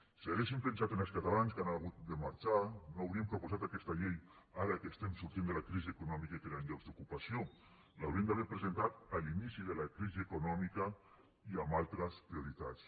si haguessin pensat en els catalans que han hagut de marxar no haurien proposat aquesta llei ara que estem sortint de la crisi econòmica i creant llocs d’ocupació l’haurien d’haver presentat a l’inici de la crisi econòmica i amb altres prioritats